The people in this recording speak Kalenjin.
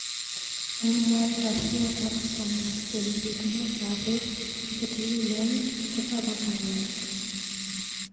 Eng mwaet ab kiyotok komwaat kele bitunet ab bek chetililen kotako kaimet.